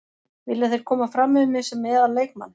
Vilja þeir koma fram við mig sem meðal leikmann.